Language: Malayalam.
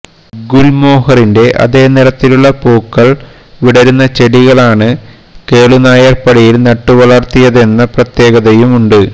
ഗുല്മോഹറിന്റെ അതേ നിറത്തിലുള്ള പൂക്കള് വിടരുന്ന ചെടികളാണ് കേളുനായര്പ്പടിയില് നട്ടുവളര്ത്തിയതെന്ന പ്രത്യേകതയുമുണ്ട്